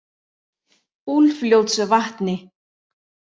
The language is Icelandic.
Úlfljótsvatni